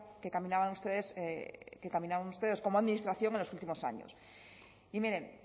que caminaban ustedes como administración en los últimos años y miren